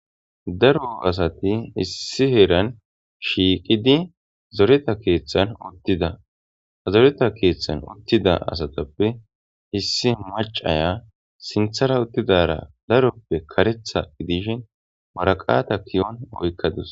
Garo asati issi heeran shiiqidi zoreta keeththan uttida azoreta keeththan uttida asatappe issi macaya sinthara uttidara daroppe karetha idishin maraqata kiyon oykkadus.